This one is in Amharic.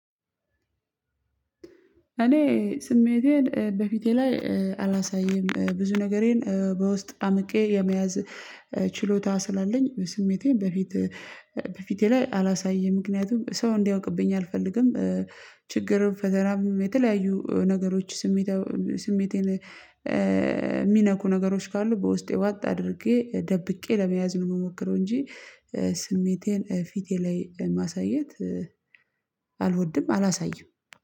እኔ ስሜቴን በፊቴ ላይ አላሳይም ብዙ ነገሬን በውስጥ አምቄ የመያዝ ችሎታ ስላለኝ ስሜቴን በፊት በፊቴ ላይ አላሳየም ምክንያቱም ሰው እንዲያውቅብኝ አልፈልግም። ችግርም ፈተናም የተለያዩ ነገሮች ስሜታው ስሜቴን የሚነኩ ነገሮች ካሉ በውስጤ ዋጥ አድርጌ ደብቄ ለመያዝ ነው የምሞክረው እንጂ። ስሜቴን ፊቴ ላይ ማሳየት አልወድም አላሳየም።